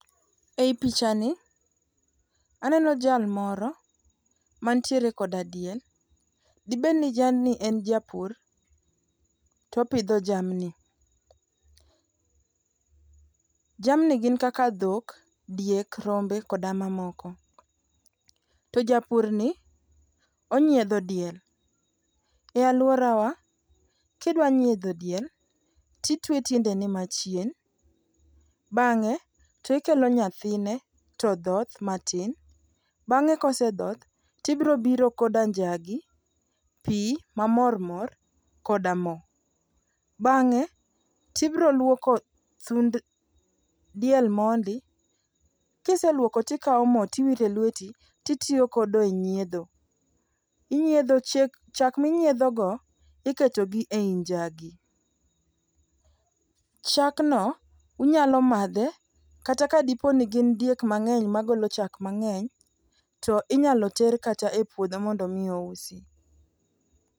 Ei picha ni aneno jal moro mantiere koda diel, dibedni jalni en japur topidho jamni. Jamni gin kaka dhok, diek, rombe koda mamoko. To japur ni onyiedho diel , e aluorawa kidwa nyiedho diel ti twe tiende ne machien bang'e to ikelo nyathine to dhoth matin .Bang'e kosedhoth to ibro biro koda njagi, pii ma mor mor koda moo, .Bang'e to ibro luoko thund diel mondi, kiseluoko tikawo mo tiwore lweti titiyo godo e nyiedho. Inyiedho cha chak minyiedho go iketo gi e i njagi. Chak no inyalo madhe kata ka dipo ni in diek mang'eny magoko chak mang'eny tinyalo ter kata e puodho mondo mi ousi.